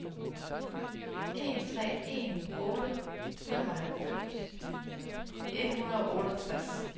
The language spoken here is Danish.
en tre en otte femoghalvfjerds et hundrede og otteogtres